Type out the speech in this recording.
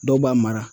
Dɔw b'a mara